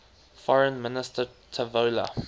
foreign minister tavola